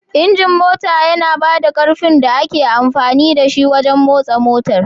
Injin mota yana ba da ƙarfin da ake amfani da shi don motsa motar